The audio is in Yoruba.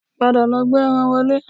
Padà lọ gbé ẹran wọlé